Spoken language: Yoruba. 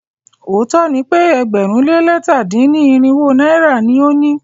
Òótó ni pe ẹgbẹ̀rún lé lẹ̀ta dín ní irinwó náírà ni o ni.